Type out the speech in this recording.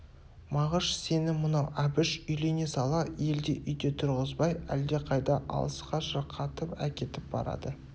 мағыш сені мынау әбіш үйлене сала елде үйде тұрғызбай әлдеқайда алысқа шырқатып әкетіп барады